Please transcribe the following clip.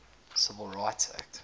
civil rights act